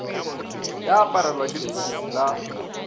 ya aparelwa ke leswiswi la